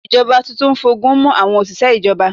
Ìjọba tuntun ń fogun mú àwọn òṣìṣẹ́ ìjọba.